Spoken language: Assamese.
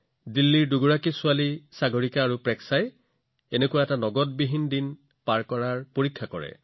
দিল্লীৰ দুগৰাকী কন্যা সাগৰিকা আৰু প্ৰেক্ষাই নগদবিহীন দিনৰ এটা পৰীক্ষানিৰীক্ষা কৰিছিল